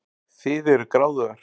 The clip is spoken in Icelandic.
Þið eruð gráðugar.